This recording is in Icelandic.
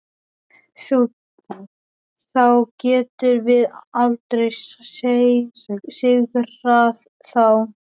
Þá getum við aldrei sigrað þá.